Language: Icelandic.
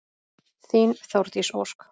Þín Þórdís Ósk.